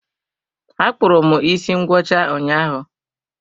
Akpụrụ m isi ngwọcha ụnyaahụ.